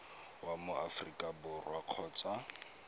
wa mo aforika borwa kgotsa